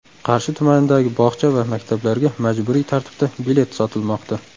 Qarshi tumanidagi bog‘cha va maktablarga majburiy tartibda bilet sotilmoqda.